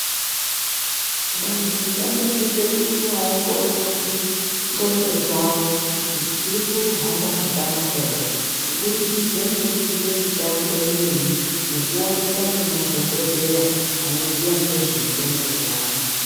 Vantu vanosisa kuti vaongorerwe ngondlp dzawo kuti dziri kuhamba zvakanaka ere kubudikidza ngekuita mitambo imweni nekuoneka nemadhokodheya vanoziva nezve ngondlo dzevanhu.